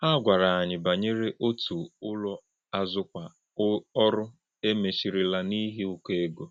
Hà̄ gwárà̄ ànyị̄ bànyèrè̄ òtú̄ ùlò̄ àzụ̀kwà̄ ọ̀rụ̀ e méchìrì̄là̄ n’íhì̄ ụ́kọ̀ égó̄.